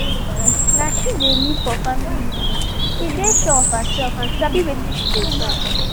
na she dey lead for family meeting she dey sure of herself and sabi wetin she dey talk